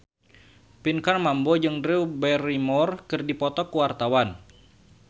Pinkan Mambo jeung Drew Barrymore keur dipoto ku wartawan